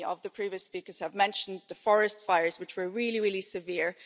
Many of the previous speakers mentioned the forest fires, which were really, really severe.